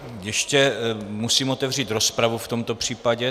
Ještě musím otevřít rozpravu v tomto případě.